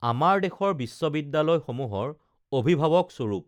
আমাৰ দেশৰ বিশ্ববিদ্যালয়সমূহৰ অভিভা‌ৱকস্বৰূপ